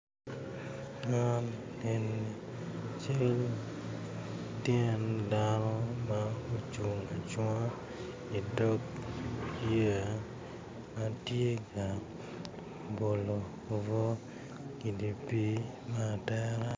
Man eni cal tyen dano ma ocung acunga idog yeya ma tye ka bolo obwo idye pii me atera.